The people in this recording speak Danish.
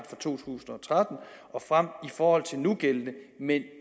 for to tusind og tretten og frem i forhold til nugældende men